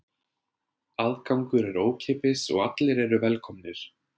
Aðgangur er ókeypis og allir eru velkomnir.